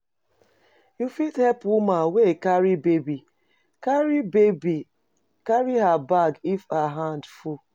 You fit help woman wey e carry baby, carry baby carry her bag if her hand full